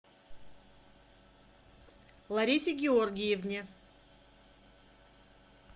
ларисе георгиевне